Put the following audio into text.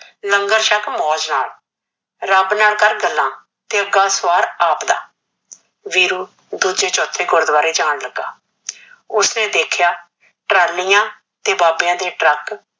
ਲੰਗਰ ਸ਼ਕ ਮੋਜ ਨਾਲ ਰਬ ਨਾਲ ਕਰ ਗਲਾ ਤੇ ਚਗਾ ਫੜ ਆਪ ਦਾ ਵੀਰੂ ਦੂਜੇ ਚੋਥੇ ਗੁਰਦੁਆਰੇ ਜਾਨ ਲੱਗਾ ਓਸ ਨੇ ਦੇਖਿਆ ਟ੍ਰਾਲਿਆ ਤੇ ਬਾਬੇ ਦੇ ਟਰਕ